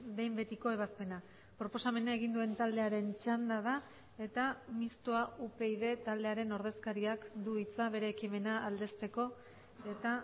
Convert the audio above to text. behin betiko ebazpena proposamena egin duen taldearen txanda da eta mistoa upyd taldearen ordezkariak du hitza bere ekimena aldezteko eta